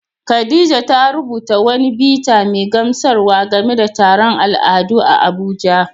Khadija ta rubuta wani bita mai gamsarwa game da taron al'adu a Abuja.